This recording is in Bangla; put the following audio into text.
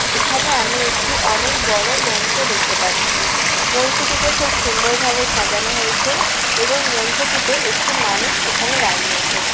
এখানে আমি একটি অনেক বড় মঞ্চ দেখতে পাচ্ছি মঞ্চ টিকে খুব সুন্দরভাবে সাজানো হয়েছে এবং মঞ্চটিতে একটি মানুষ সেখানে দাঁড়িয়ে আছেন।